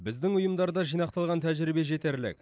біздің ұйымдарда жинақталған тәжірибе жетерлік